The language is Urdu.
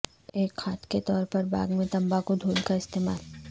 ایک کھاد کے طور پر باغ میں تمباکو دھول کا استعمال